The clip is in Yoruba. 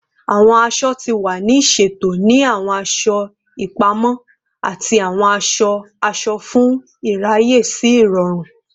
Awọn aṣọ ti wa ni ṣeto ni awọn aṣọ ipamọ ati awọn aṣọ-aṣọ fun iraye si irọrun